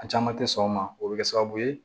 A caman tɛ sɔn o ma o bɛ kɛ sababu ye